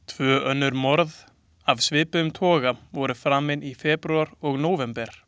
Tvö önnur morð af svipuðum toga voru framin í febrúar og nóvember.